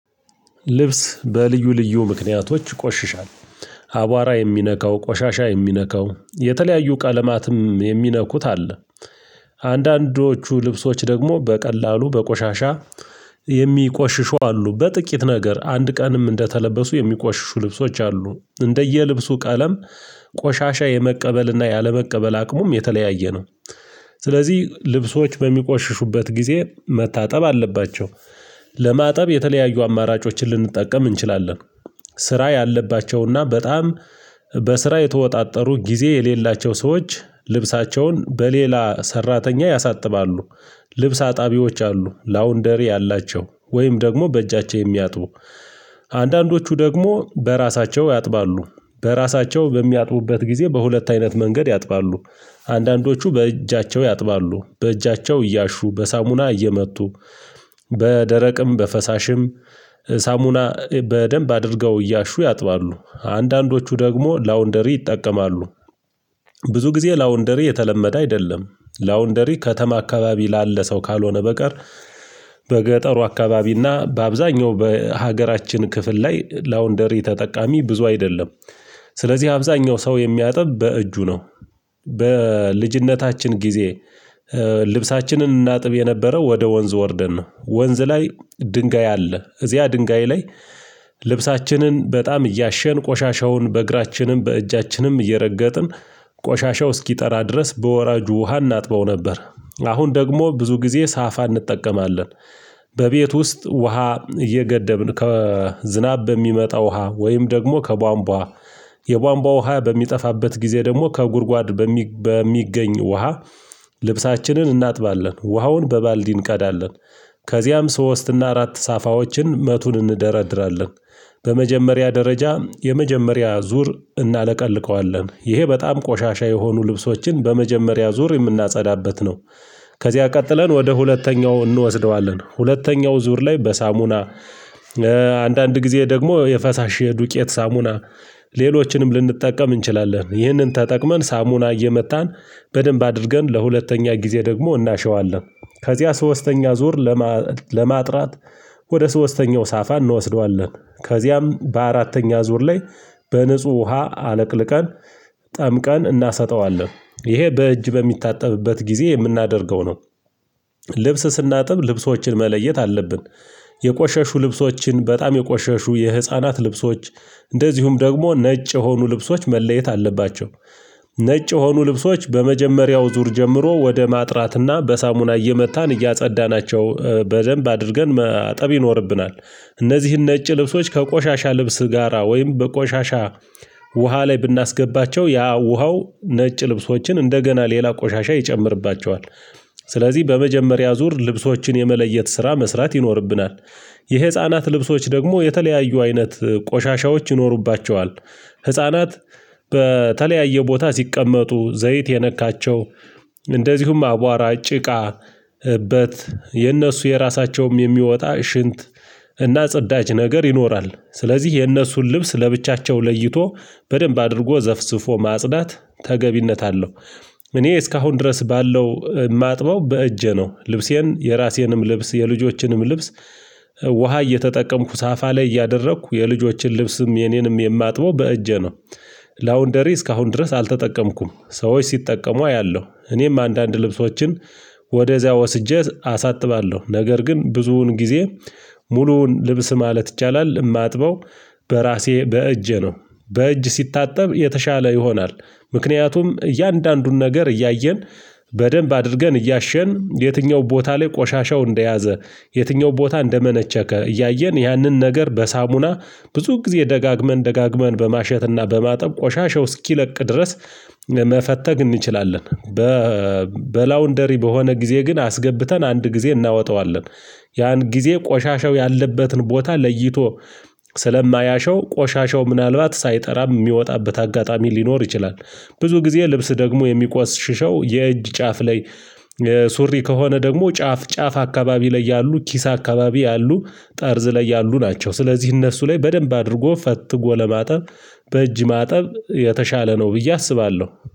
ልብስ በልዩ ልዩ ምክንያቶች ይቆሽሻል አቧራ የሚነካው ቆሻሻ የሚነካው የተለያዩ ቀለማትም የሚነኩት አለ። አንዳንዶቹ ልብሶች ደግሞ በቀላሉ በቆሻሻ የሚቆሽሹ አሉ በጥቂት ነገር አንድ ቀንም እንደተለበሱ የሚቆሽሹ ልብሶች አሉ እንደየልብሱ ቀለም ቆሻሻ የመቀበልና ያለመቀበል አቅሙም የተለያየ ነው። ስለዚህ ልብሶች በሚቆሽሹበት ጊዜ መታጠብ አለባቸው። ለማጠብ የተለያዩ አማራጮችን ልንጠቀም እንችላለን። ስራ ያለባቸውና በጣም በስራ የተወጣጠሩ ጊዜ የሌላቸው ሰዎች ልብሳቸውን በሌላ ሰራተኛ ያሳጥባሉ። ልብስ አጣቢዎች አሉ ላውንደሪ ያላቸው ወይም ደግሞ በእጃቸው የሚያጥቡ። አንዳንዶቹ ደግሞ በራሳቸው ያጥባሉ። በራሳቸው በሚያጥቡበት ጊዜ በሁለት አይነት መንገድ ያጥባሉ። አንዳንዶቹ በእጃቸው ያጥባሉ በእጃቸው እያሹ በሳሙና እየመቱ በደረቅም በፈሳሽም ሳሙና በደንብ አድርገው እያሹ ያጥባሉ አንዳንዶቹ ደግሞ ላውንደሪ ይጠቀማሉ። ብዙ ጊዜ ላውንደሪ የተለመደ አይደለም። ላውንደሪ ከተማ አካባቢ ላለ ሰው ካልሆነ በቀር። በገጠሩ አካባቢና በአብዛኛው በሀገራችን ክፍል ላይ ላውንደሪ ተጠቃሚ ብዙ አይደለም። ስለዚህ አብዛኛው ሰው የሚያጥብ በእጁ ነው። በልጅነታችን ጊዜ ልብሳችንን እናጥብ የነበረው ወደ ወንዝ ወርደን ነው ወንዝ ላይ ድንጋይ አለ እዚያ ድንጋይ ላይ። ልብሳችንን በጣም እያሸን ቆሻሻውን በእግራችንም በእጃችንም እየረገጥን ቆሻሻው እስኪጠራ ድረስ በወራጁ ውሃ እናጥበው ነበር። አሁን ደግሞ ብዙ ጊዜ ሳፋ እንጠቀማለን። በቤት ውስጥ ውሃ እየገደብን ከዝናብ በሚመጣ ውሃ ወይም ደግሞ ከቧንቧ የቧንቧ ውሃ በሚጠፋበት ጊዜ ደግሞ ከጉድጓድ በሚገኝ ውሃ። ልብሳችንን እናጥባለን ውሃውን በባልዲ እንቀዳለን። ከዚያም ሶስት እና አራት ሳፋዎችን መቱን እንደረድራለን። በመጀመሪያ ደረጃ የመጀመሪያ ዙር እናለቀልቀዋለን ይሄ በጣም ቆሻሻ የሆኑ ልብሶችን በመጀመሪያ ዙር የምናጸዳበት ነው። ከዚያ ቀጥለን ወደ ሁለተኛው እንወስደዋለን ሁለተኛው ዙር ላይ በሳሙና። አንዳንድ ጊዜ ደግሞ የፈሳሽ የዱቄት ሳሙና። ሌሎችንም ልንጠቀም እንችላለን ይህንን ተጠቅመን ሳሙና እየመታን በደንብ አድርገን ለሁለተኛ ጊዜ ደግሞ እናሸዋለን። ከዚያ ሶስተኛ ዙር ለማጥራት ወደ ሶስተኛው ሳፋ እንወስደዋለን። ከዚያም በአራተኛ ዙር ላይ በንጹህ ውሃ አለቅልቀን ጠምቀን እናሰጠዋለን ይሄ በእጅ በሚታጠብበት ጊዜ የምናደርገው ነው። ልብስ ስናጥብ ልብሶችን መለየት አለብን። የቆሸሹ ልብሶችን በጣም የቆሸሹ የህፃናት ልብሶች እንደዚሁም ደግሞ ነጭ የሆኑ ልብሶች መለየት አለባቸው። ነጭ የሆኑ ልብሶች በመጀመሪያው ዙር ጀምሮ ወደ ማጥራትና በሳሙና እየመታን እያጸዳናቸው በደንብ አድርገን ማጠብ ይኖርብናል። እነዚህን ነጭ ልብሶች ከቆሻሻ ልብስ ጋራ ወይም በቆሻሻ ውሃ ላይ ብናስገባቸው ያ ውሃው ነጭ ልብሶችን እንደገና ሌላ ቆሻሻ ይጨምርባቸዋል። ስለዚህ በመጀመሪያ ዙር ልብሶችን የመለየት ስራ መስራት ይኖርብናል። የህፃናት ልብሶች ደግሞ የተለያዩ አይነት ቆሻሻዎች ይኖሩባቸዋል። ህፃናት በተለያየ ቦታ ሲቀመጡ ዘይት የነካቸው እንደዚሁም አቧራ ጭቃ እበት የነሱ የራሳቸውም የሚወጣ ሽንት እና ጽዳጅ ነገር ይኖራል ስለዚህ የእነሱን ልብስ ለብቻቸው ለይቶ በደንብ አድርጎ ዘፍስፎ ማጽዳት ተገቢነት አለው። እኔ እስካሁን ድረስ ባለው የማጥበው በእጄ ነው ልብሴን የራሴንም ልብስ የልጆችንም ልብስ። ውሃ እየተጠቀምኩ ሳፋ ላይ እያደረኩ የልጆችን ልብስም የኔንም የማጥበው በእጄ ነው። ላውንደሪ እስካሁን ድረስ አልተጠቀምኩም። ሰዎች ሲጠቀሙ አያለሁ እኔም አንዳንድ ልብሶችን ወደዚያ ወስጄ አሳጥባለሁ። ነገር ግን ብዙውን ጊዜ ሙሉውን ልብስ ማለት ይቻላል እማጥበው። በራሴ በእጄ ነው። በእጅ ሲታጠብ የተሻለ ይሆናል። ምክንያቱም እያንዳንዱን ነገር እያየን በደንብ አድርገን እያሸን የትኛው ቦታ ላይ ቆሻሻው እንደያዘ የትኛው ቦታ እንደመነቸከ እያየን ያንን ነገር በሳሙና ብዙ ጊዜ ደጋግመን ደጋግመን በማሸትና በማጠብ ቆሻሻው እስኪለቅ ድረስ መፈተግ እንችላለን። በላውንደሪ በሆነ ጊዜ ግን አስገብተን አንድ ጊዜ እናወጣዋለን። ያን ጊዜ ቆሻሻው ያለበትን ቦታ ለይቶ ስለማያሸው ቆሻሻው ምናልባት ሳይጠራ የሚወጣበት አጋጣሚ ሊኖር ይችላል። ብዙ ጊዜ ልብስ ደግሞ የሚቆስሽሸው የእጅ ጫፍ ላይ። ሱሪ ከሆነ ደግሞ ጫፍ ጫፍ አካባቢ ላይ ያሉ ኪስ አካባቢ ያሉ ጠርዝ ላይ ያሉ ናቸው። ስለዚህ እነሱ ላይ በደንብ አድርጎ ፈትጎ ለማጠብ በእጅ ማጠብ የተሻለ ነው ብዬ አስባለሁ